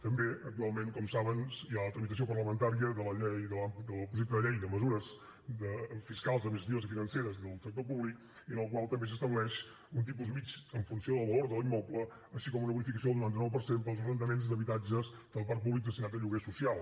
també actualment com saben hi ha la tramitació parlamentària del projecte de llei de mesures fiscals administratives i financeres del sector públic en el qual també s’estableix un tipus mitjà en funció del valor de l’immoble així com una bonificació del noranta nou per cent per als arrendaments d’habitatges del parc públic destinats a lloguer social